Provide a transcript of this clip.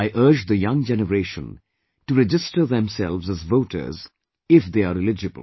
I urge the young generation to register themselves as voters, if they are eligible